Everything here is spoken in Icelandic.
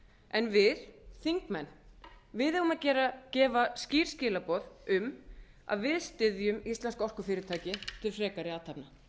en við þingmenn eigum að gefa skýr skilaboð um að við styðjum íslensk orkufyrirtæki til frekari athafna